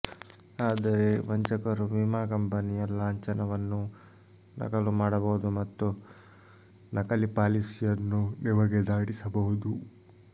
ಆದರೆ ವಂಚಕರು ವಿಮಾ ಕಂಪನಿಯ ಲಾಂಛನವನ್ನೂ ನಕಲು ಮಾಡಬಹುದು ಮತ್ತು ನಕಲಿ ಪಾಲಿಸಿಯನ್ನು ನಿಮಗೆ ದಾಟಿಸಬಹುದು